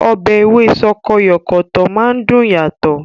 Ọbẹ̀ Ewé sọkọyọ̀kọ̀tọ̀ máa ń dùn yàtọ̀